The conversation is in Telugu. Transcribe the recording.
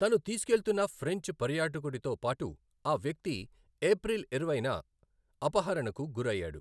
తను తీసుకెళ్తున్న ఫ్రెంచ్ పర్యాటకుడితో పాటు ఆ వ్యక్తి ఏప్రిల్ ఇరవైన అపహరణకు గురయ్యాడు.